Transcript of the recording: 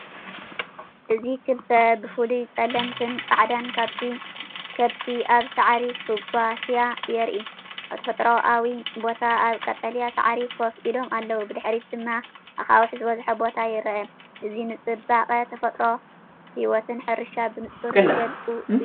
እዚ ክልተ ብፍሉይ ጸለምትን ጻዕዳን ከብቲ ኣብ ሳዕሪ ክጓስያ የርኢ። ኣብ ተፈጥሮኣዊ ቦታ ኣብ ቀጠልያ ሳዕሪ ኮፍ ኢሎም ኣለዉ፣ ብድሕሪት ድማ ኣኻውሕ ዝበዝሖ ቦታ ይርአ። እዚ ንጽባቐ ተፈጥሮን ህይወት ሕርሻን ብንጹር ዝገልጽ እዩ።